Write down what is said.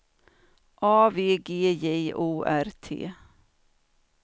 A V G J O R T